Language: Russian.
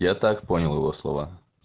я так понял его слова